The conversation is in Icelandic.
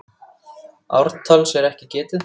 Ártals er ekki getið.